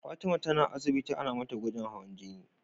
Fatima na asibiti Ana mata gwajin hawan jini